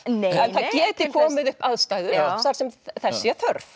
það geti komið upp aðstæður þar sem þess sé þörf